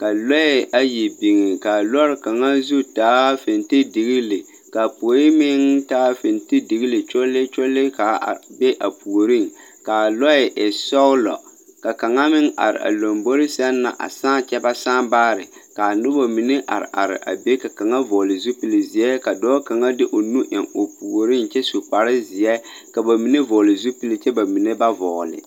ka lͻԑ ayi biŋi ka a lͻͻre kaŋa zu taa fitindigili, ka a poe meŋ taa fitindigile kyolee kyolee ka a are be a puoriŋ ka a lͻԑ e sͻgelͻ. Ka kaŋa meŋ are a lombori sԑŋ na a saa kyԑ ba saa baare kaa noba mine are are a be. Ka kaŋa vͻgele zupili zeԑ ka dͻͻ kaŋa de o nu eŋ o puoriŋ kyԑ su kpare zeԑ. Ka ba mine vͻgele zupile kyԑ bamine ba vͻgele.